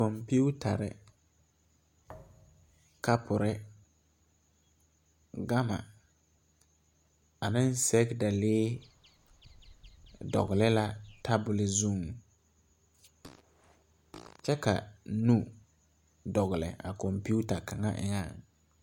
Kɔmpiutarre, kapurre, gama aneŋ sɛgedalee dɔgle la tabol zuŋ kyɛ ka nu dɔgle a kɔmpiuta kaŋa eŋɛŋ.